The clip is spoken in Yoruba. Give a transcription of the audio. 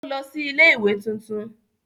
ó lọ sí ilé-ìwé tuntun.